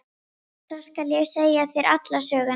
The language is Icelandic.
Þá skal ég segja þér alla söguna.